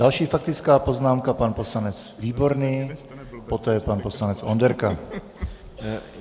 Další faktická poznámka - pan poslanec Výborný, poté pan poslanec Onderka.